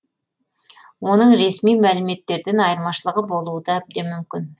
оның ресми мәліметтерден айырмашылығы болуы да әбден мүмкін